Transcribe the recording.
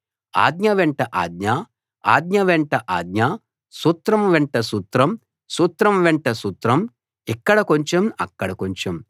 ఆజ్ఞ వెంట ఆజ్ఞ ఆజ్ఞ వెంట ఆజ్ఞ సూత్రం వెంట సూత్రం సూత్రం వెంట సూత్రం ఇక్కడ కొంచెం అక్కడ కొంచెం